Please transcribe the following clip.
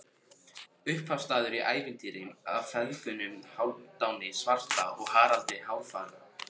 Upphafsstafur í ævintýri af feðgunum Hálfdani svarta og Haraldi hárfagra.